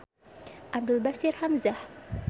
Abdul Bashir Hamzah.